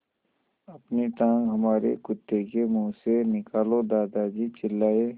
अपनी टाँग हमारे कुत्ते के मुँह से निकालो दादाजी चिल्लाए